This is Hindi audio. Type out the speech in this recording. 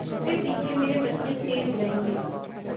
मेरे पीछे मेरे बच्चे चैन उड़ायेंगे